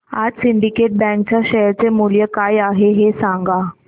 आज सिंडीकेट बँक च्या शेअर चे मूल्य काय आहे हे सांगा